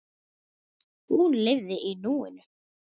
Hún lifði í núinu.